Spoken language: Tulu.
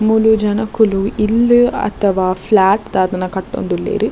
ಮೂಲು ಜನೊಕುಲು ಇಲ್ಲ್ ಅಥವ ಫ್ಲೇಟ್ ದಾದನ ಕಟ್ಟೊಂದುಲ್ಲೆರ್.